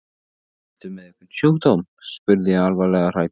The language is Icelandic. Ertu með einhvern sjúkdóm? spurði ég alvarlega hrædd.